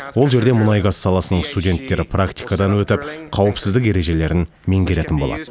ол жерде мұнай газ саласының студенттері практикадан өтіп қауіпсіздік ережелерін меңгеретін болады